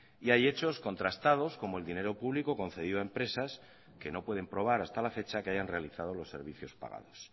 y hay hechos contrastados como el dinero público concedido a empresas que no pueden probar hasta la fecha que hayan realizado los servicios pagados